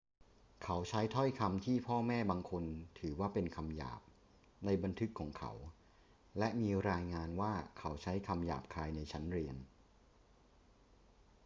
เขาใช้ถ้อยคำที่พ่อแม่บางคนถือว่าเป็นคำหยาบในบันทึกของเขา และมีรายงานว่าเขาใช้คำหยาบคายในชั้นเรียน